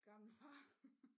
Gammel far